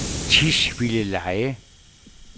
Tisvildeleje